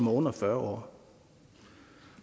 er under fyrre